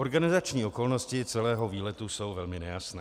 Organizační okolnosti celého výletu jsou velmi nejasné.